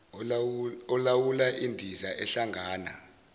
olawula indiza ehlangana